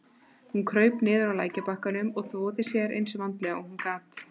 Hún kraup niður á lækjarbakkann og þvoði sér eins vandlega og hún gat.